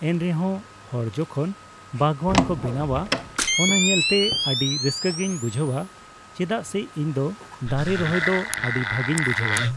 ᱮᱱᱨᱮᱦᱚᱸ ᱦᱚᱲᱡᱚᱠᱷᱚᱱ ᱵᱟᱜᱣᱟᱱ ᱠᱚ ᱵᱮᱱᱟᱣᱟ ᱚᱱᱟ ᱧᱮᱞᱛᱮ ᱟᱹᱰᱤ ᱨᱟᱹᱥᱠᱟᱹᱜᱤᱧ ᱵᱩᱡᱷᱟᱹᱣᱟ ᱪᱮᱫᱟᱜ ᱥᱮ ᱤᱧᱫᱚ ᱫᱟᱨᱮ ᱨᱚᱦᱚᱭ ᱫᱚ ᱟᱹᱰᱤ ᱵᱷᱟᱜᱤᱧ ᱵᱩᱡᱷᱟᱹᱣᱟ ᱾